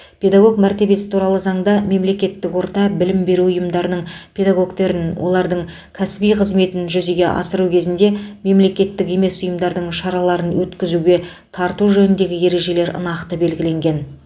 педагог мәртебесі туралы заңда мемлекеттік орта білім беру ұйымдарының педагогтерін олардың кәсіби қызметін жүзеге асыру кезінде мемлекеттік емес ұйымдардың шараларын өткізуге тарту жөніндегі ережелер нақты белгіленген